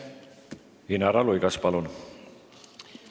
Inara Luigas, palun!